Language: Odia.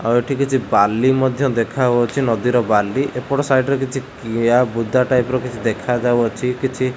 ଆଉ ଏଠି କିଛି ବାଲି ମଧ୍ୟ ଦେଖାଯାଉଛି ନଦୀର ବାଲି ଏପଟ ସାଇଟ ରେ କିଛି କିଆବୁଦା ଟାଇପ ର କିଛି ଦେଖାଯାଉଅଛି କିଛି --